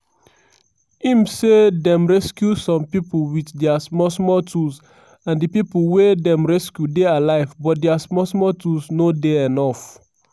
im say dem rescue some pipo wit dia small small tools and di pipo wey dem rescue dey alive but dia small small tools no dey enuf.